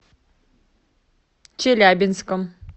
челябинском